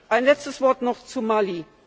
Ein letztes Wort noch zu Mali.